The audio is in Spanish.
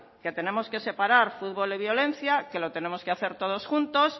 que debemos separar futbol de violencia que lo tenemos que hacer todos juntos